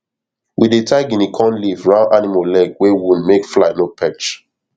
we dey tie guinea corn leaf round animal leg wey wound make fly no perch